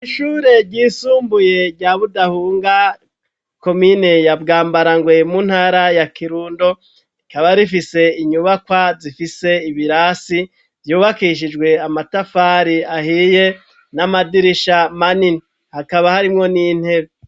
Ishure ryisumbuye rya Budahunga, komine ya Bwambarangwe mu ntara ya Kirundo, rikaba rifise inyubakwa zifise ibirasi vyubakishijwe amatafari ahiye, n'amadirisha manini. Hakaba harimwo n'intebe.